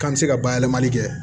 K'an bɛ se ka bayɛlɛmali kɛ